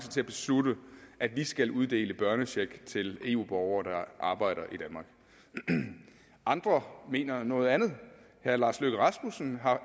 til at beslutte at vi skal uddele børnecheck til eu borgere der arbejder i danmark og andre mener noget andet herre lars løkke rasmussen